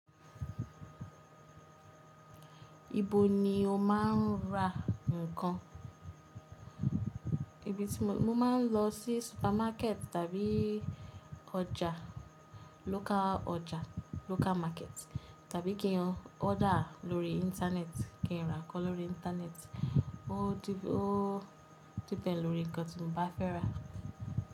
Ibo ni o máa ń ra nǹkan? Ibi tí mo, mo máa ń lọ sí supermarket tàbí ọjà, local ọjà, local market, tàbí kí n order lórí internet, kí n ra nǹkan lórí internet. Ó ó depend lórí nǹkan tí mo bá fẹ́ rà.